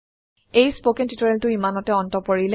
এই spoken tutorial ইমানতে অন্ত পৰিল